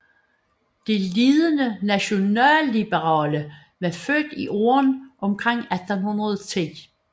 De ledende nationalliberale var født i årene omkring 1810